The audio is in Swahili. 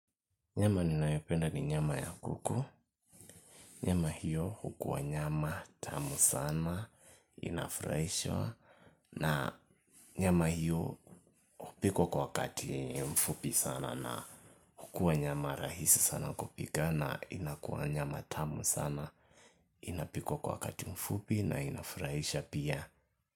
Nyama ninayopenda ni nyama ya kuku. Nyama hiyo hukua nyama tamu sana, inafurahisha. Na nyama hio hupikwa kwa wakati mfupi sana na hukuwa nyama rahisi sana kupika na inakuwa nyama tamu sana. Inapikwa kwa wakati mfupi na inafurahisha pia.